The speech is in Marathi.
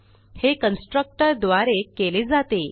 हे कन्स्ट्रक्टर द्वारे केले जाते